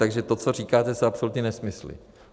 Takže to, co říkáte, jsou absolutní nesmysly.